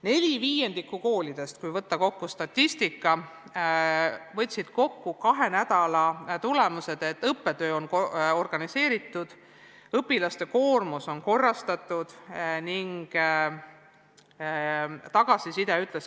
4/5 koolidest, kui lähtuda statistikast, võtsid kahe nädala tulemused kokku tõdemusega, et õppetöö on organiseeritud ja õpilaste koormus korrastatud.